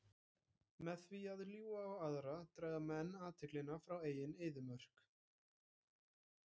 Með því að ljúga á aðra draga menn athyglina frá eigin eyðimörk.